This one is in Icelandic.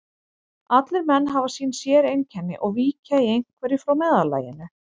Allir menn hafa sín séreinkenni og víkja í einhverju frá meðallaginu.